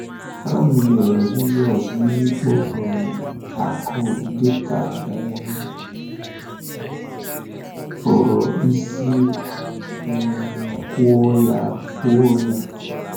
À mụnyere Jizọs n’ikpo um akụ̀ dị ka um a pụrụ isi um kwuo ya kwuo ya?